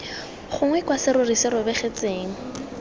gongwe kwa serori se robegetseng